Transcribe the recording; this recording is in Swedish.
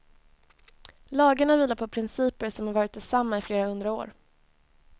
Lagarna vilar på principer som varit desamma i flera hundra år.